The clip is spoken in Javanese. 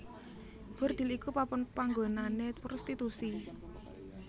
Bordhil iku papan panggonané prostitusi